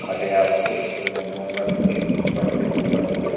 ঘাটে আসছে এবং গঙ্গা নদীর এপার থেকে ওপার করে--